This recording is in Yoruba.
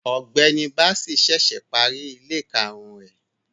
Ọgbẹni Bassey ṣẹṣẹ pari ile karun rẹ